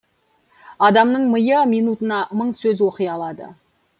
адамның миы минутына мың сөз оқи алады